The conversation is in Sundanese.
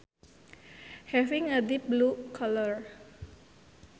Having a deep blue colour